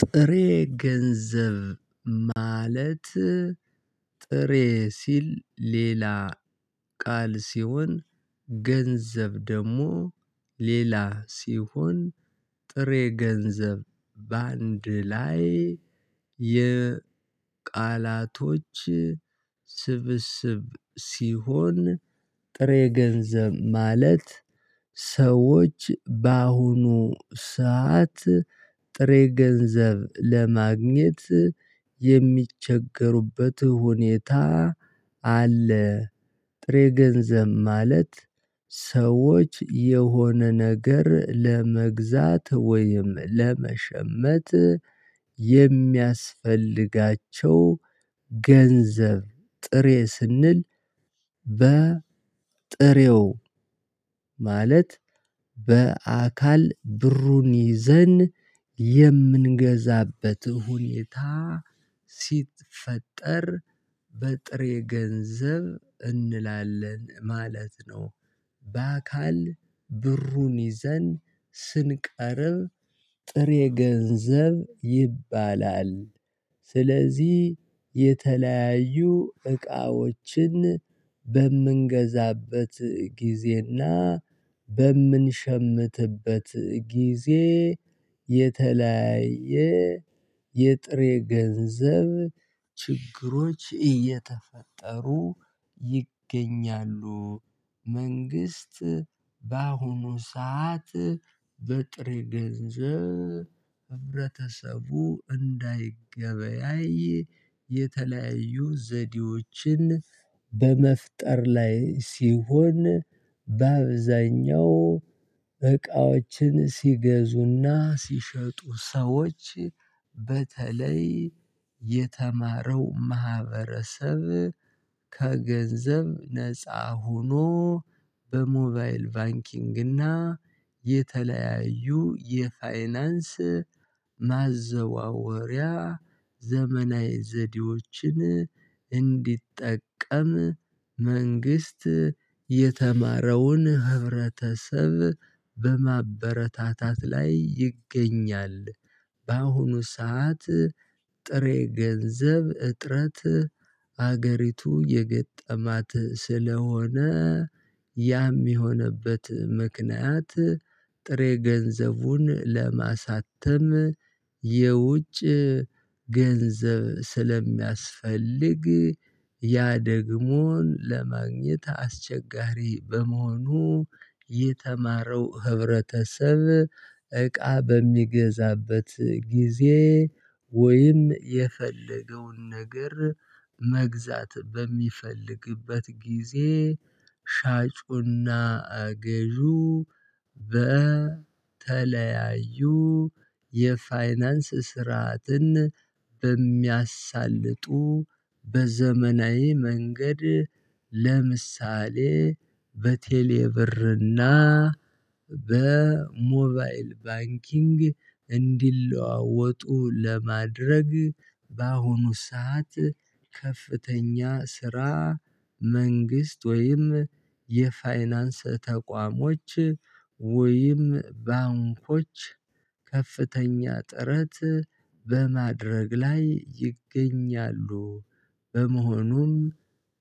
ጥሬ ገንዘብ ማለት ጥሬ ሲል ሌላ ቃል ሲሆን ገንዘብ ደግሞ ሌላ ሲሆን ጥሬ ገንዘብ በአንድ ላይ የቃላቶች ስብስብ ሲሆን ጥሬ ገንዘብ ማለት ሰዎች በአሁኑ ሰዓት ጥሬ ገንዘብ ለማግኘት የሚቸገሩበት ሁኔታ አለ። ጥሬ ገንዘብ ማለት ሰዎች የሆነ ነገር ለመግዛት ወይም ለመሸመት የሚያስፈልጋቸው ገንዘብ ጥሬ ስንል በ ጥሬው ማለት በአካል ብሩን ይዘን የምንገዛበት ሁኔታ ሲፈጠር በጥሬ ገንዘብ እንላለን ማለት ነው። በአካል ብሩን ይዘን ስንቀርብ ጥሬ ገንዘብ ይባላል። ስለዚህ የተለያዩ እቃዎችን በምንገዛበት ጊዜና በምንሸምትበት ጊዜ የተለያየ የጥሬ ገንዘብ ችግሮች እየተፈጠሩ ይገኛሉ። መንግስት በአሁኑ ሰዓት በጥሬ ገንዘብ ህብረተሰቡ እንዳይገበያይ የተለያዩ ዘዴዎችን በመፍጠር ላይ ሲሆን በአብዛኛው እቃዎችን ሲገዙና ሲሸጡ ሰዎች በተለይ የተማረው ማህበረሰብ ከገንዘብ ነፃ ሆኖ በሞባይል ባንኪንግ እና የተለያዩ የፋይናንስ ማዘዋወሪያ ዘመናዊ ዘዴዎችን እንዲጠቀም መንግስት የተማረውን ህብረተሰብ በማበረታታት ላይ ይገኛል። በአሁኑ ሰዓት ጥሬ ገንዘብ እጥረት አገሪቱ የገጠማት ስለሆነ ያም የሆነበት ምክንያት ጥሬ ገንዘቡን ለማሳተም የውጭ ገንዘብ ስለሚያስፈልግ ያ ደግሞ ለማግኘት አስቸጋሪ በመሆኑ። የተማረው ህብረተሰብ እቃ በሚገዛበት ጊዜ ወይም የፈለገውን ነገር መግዛት በሚፈልግበት ጊዜ ሻጩና ገዢው በተለያዩ የፋይናንስ ስርዓትን በሚያሳልጡ በዘመናዊ መንገድ ለምሳሌ በቴሌ ብርና በሞባይል ባንኪንግ እንዲለዋወጡ ለማድረግ በአሁኑ ሰዓት ከፍተኛ ስራ መንግስት ወይም የፋይናንስ ተቋሞች ወይም ባንኮች ከፍተኛ ጥረት በማድረግ ላይ ይገኛሉ። በመሆኑም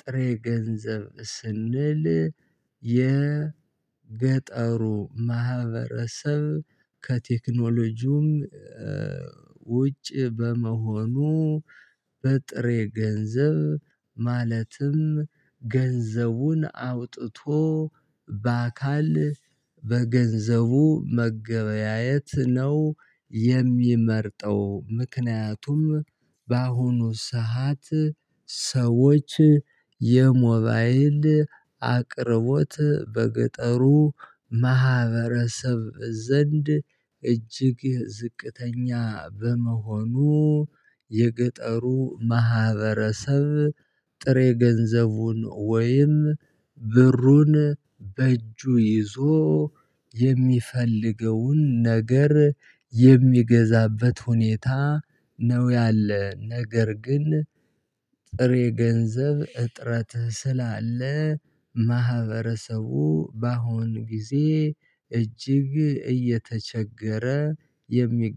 ጥሬ ገንዘብ ስንል የገጠሩ ማህበረሰብ ከቴክኖሎጂም ውጭ በመሆኑ በጥሬ ገንዘብ ማለትም ገንዘቡን አውጥቶ በአካል በገንዘቡ መገበያየት ነው የሚመርጠው። ምክንያቱም በአሁኑ ሰዓት ሰዎች የሞባይል አቅርቦት በገጠሩ ማህበረሰብ ዘንድ እጅግ ዝቅተኛ በመሆኑ የገጠሩ ማህበረሰብ ጥሬ ገንዘቡን ወይም ብሩን በእጁ ይዞ የሚፈልገውን ነገር የሚገዛበት ሁኔታ ነው ያለ ነገር ግን ጥሬ ገንዘብ እጥረት ስላለ ማህበረሰቡ በአሁን ጊዜ እጅግ እየተቸገረ የሚገኝበት